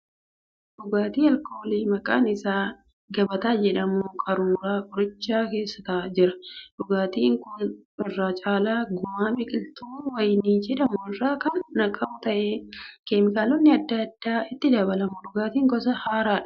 Dhugaatii alkoolii maqaan isaa gabataa jedhamu qaruura gurraacha keessa jira. Dhugaatiin kun irra caala gumaa biqiltuu wayinii jedhamu irraa kan naqamu ta'ee keemikaalonni adda addaas itti dabalamu. Dhugaatii gosa haaraadha.